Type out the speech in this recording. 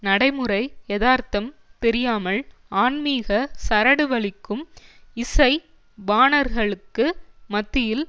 நடைமுறை எதார்த்தம் தெரியாமல் ஆன்மிக சரடு வலிக்கும் இசை வாணர்களுக்கு மத்தியில்